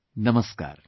Namaskar